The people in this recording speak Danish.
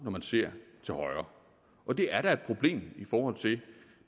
man ser til højre og det er da et problem i forhold til